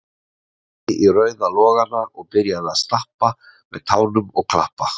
Horfði í rauða logana og byrjaði að stappa með tánum og klappa